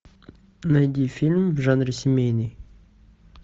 найди фильм в жанре семейный